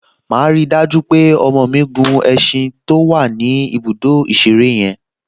Màá rí i dájú pé ọmọ mi gun ẹṣin to wà ní ibùdó ìṣeré yẹn